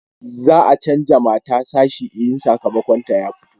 za a canja mata sashi in sakamakon ta ya fito